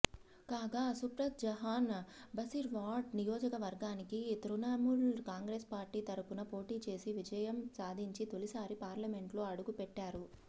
కాగా నుస్రత్ జహాన్ బసిర్హాట్ నియోజకవర్గానికి తృణముల్ కాంగ్రెస్ పార్టీ తరపున పోటీచేసి విజయం సాధించి తొలిసారి పార్లమెంట్లో అడుగుపెట్టారు